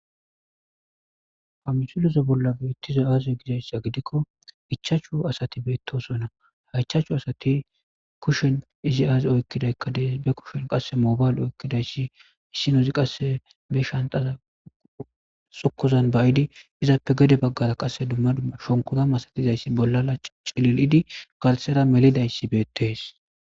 pamsuloze bollabe ittize aaze gizayssa gidikko ichaachchu asati beettosonna ha ichaachchu asati kushen izi aazi oykkidaykka dees be kushen qasse mobayl oykkidayssi issinozi qasse be shantaza sukuzan bayidi izaappe gede baggara qasse dumma dmma shonkura masatizayssi bollala cililidi garsera melidayssi beettees